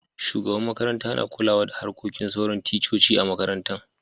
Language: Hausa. Shugaban makaranta na kulawa da harkokin sauran ticcoci a'makarantan.